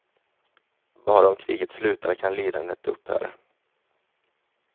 Bara om kriget slutar kan lidandet upphöra.